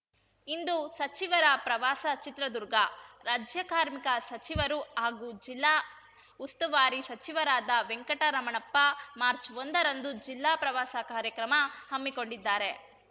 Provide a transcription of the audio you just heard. ಇಂದು ಸಚಿವರ ಪ್ರವಾಸ ಚಿತ್ರದುರ್ಗ ರಾಜ್ಯ ಕಾರ್ಮಿಕ ಸಚಿವರು ಹಾಗೂ ಜಿಲ್ಲಾ ಉಸ್ತುವಾರಿ ಸಚಿವರಾದ ವೆಂಕಟರಮಣಪ್ಪ ಮಾರ್ಚ್ ಒಂದ ರಂದು ಜಿಲ್ಲಾ ಪ್ರವಾಸ ಕಾರ್ಯಕ್ರಮ ಹಮ್ಮಿಕೊಂಡಿದ್ದಾರೆ